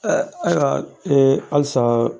ayiwa halisa